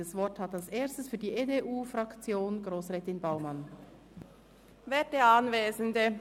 Das Wort hat als Erstes Grossrätin Baumann für die EDU-Fraktion.